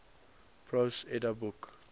prose edda book